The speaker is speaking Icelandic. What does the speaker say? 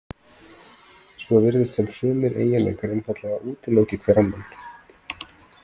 Svo virðist sem sumir eiginleikar einfaldlega útiloki hver annan.